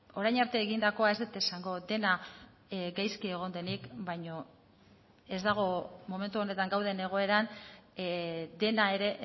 orain arte egindakoa ez dut esango dena gaizki egon denik baino ez dago momentu honetan gauden egoeran dena ere